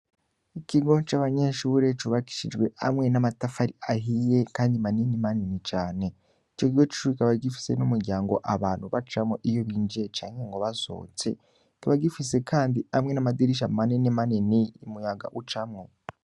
Ikigo c'abanyenshi bureco bakishijwe amwe n'amatafari ahiye, kandi manini manini cane ico gigo cubikaba gifise n'umuryango abantu bacamwo iyo binjiye canke ngo basotse tuba gifise, kandi amwe n'amadirisha manene maneni muyaga ucamwo.